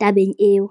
tabeng eo.